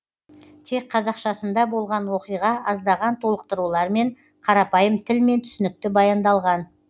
тек қазақшасында болған оқиға аздаған толықтырулармен қарапайым тілмен түсінікті баяндалған